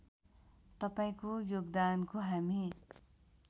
तपाईँको योगदानको हामी